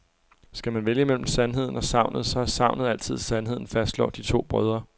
Skal man vælge mellem sandheden og sagnet, så er sagnet altid sandheden, fastslår de to brødre.